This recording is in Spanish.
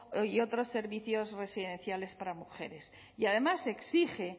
y otros servicios residenciales para mujeres y además se exige